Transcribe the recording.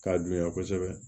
K'a girinya kosɛbɛ